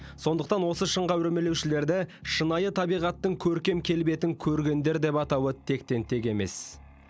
сондықтан осы шыңға өрмелеушілерді шынайы табиғаттың көркем келбетін көргендер деп атауы тектен тек емес